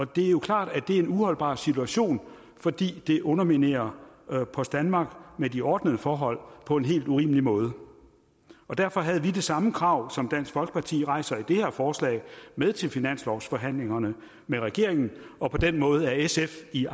det er jo klart at det er en uholdbar situation fordi det underminerer post danmark med de ordnede forhold på en helt urimelig måde derfor havde vi det samme krav som dansk folkeparti rejser i det her forslag med til finanslovsforhandlingerne med regeringen og på den måde er sf i